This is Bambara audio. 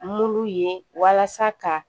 Mulu ye walasa ka